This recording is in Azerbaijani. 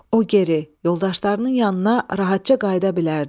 O geri yoldaşlarının yanına rahatca qayıda bilərdi.